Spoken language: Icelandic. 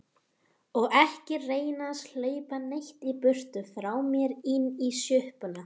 Og ekki reyna að hlaupa neitt í burtu frá mér. inn í sjoppuna!